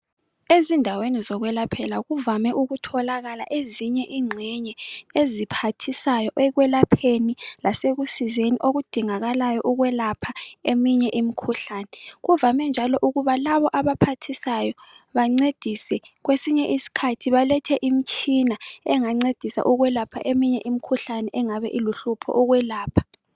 Ezindaweni zokwelaphela kuvame ukutholakala ezinye ingxenye eziphathisayo ekwelapheni lasekusizeni odingakalayo ekwelapha eminye imikhuhlane. Kuvame njalo ukuba labo abaphathisayo bancedise kwesinye isikhathi balethe imitshina engancedisa ukulapha eminye imikhuhlane engabe iluhlupho ukwelapha.